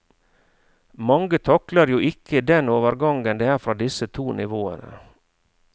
Mange takler jo ikke den overgangen det er fra disse to nivåene.